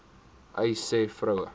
uys sê vroue